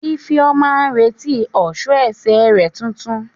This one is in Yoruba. Ifeoma ń retí ọ̀ṣọ́ ẹsẹ̀ rẹ̀ tuntun.